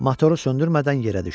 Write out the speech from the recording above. Motoru söndürmədən yerə düşdü.